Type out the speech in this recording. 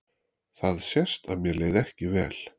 Það sést að mér leið ekki vel.